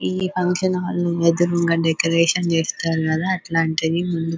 ఇద్ది function hall ఎదురుంగా decoration చేస్తారు కదా అట్లాంటిది.